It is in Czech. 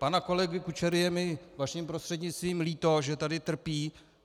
Pana kolegy Kučery je mi vaším prostřednictvím líto, že tady trpí.